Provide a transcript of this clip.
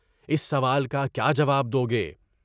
اس سوال کا کیا جواب دو گے؟